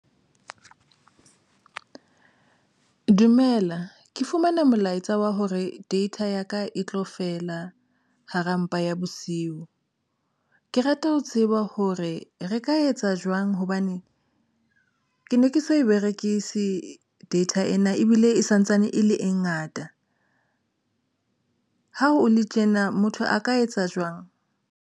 Dumela ke fumane molaetsa wa hore data ya ka e tlo fela hara mpa ya bosiu. Ke rata ho tseba hore re ka etsa jwang hobane ke ne ke so e berekise data ena ebile e santsane e le e ngata. Ha o le tjena motho a ka etsa jwang?